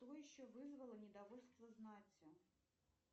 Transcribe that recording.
что еще вызвало недовольство знати